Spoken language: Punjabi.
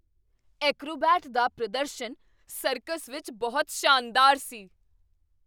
ਐਕਰੋਬੈਟ ਦਾ ਪ੍ਰਦਰਸ਼ਨ ਸਰਕਸ ਵਿੱਚ ਬਹੁਤ ਸ਼ਾਨਦਾਰ ਸੀ!